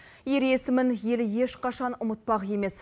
ер есімін елі ешқашан ұмытпақ емес